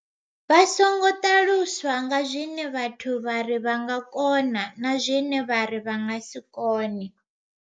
Vha songo ṱaluswa nga zwine vhathu vha ri vha nga kona na zwine vha ri vha nga si kone.